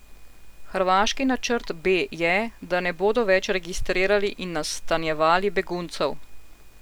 Hrvaški načrt B je, da ne bodo več registrirali in nastanjevali beguncev.